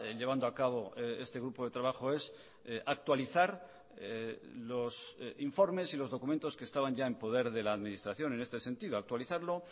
llevando a cabo este grupo de trabajo es actualizar los informes y los documentos que estaban ya en poder de la administración en este sentido actualizarlo